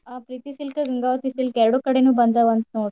ಹ Preeti silk Gangavati silk ಎರ್ಡೂ ಕಡೆನೂ ಬಂದಾವಂತ್ ನೋಡ್ರಿ.